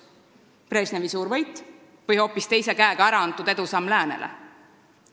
Kas Brežnevi suur võit või hoopis tema teise käega antud edusamm läänele?